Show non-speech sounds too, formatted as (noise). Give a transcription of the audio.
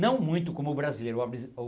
Não muito como o brasileiro. (unintelligible)